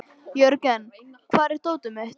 Jörgen, hvar er dótið mitt?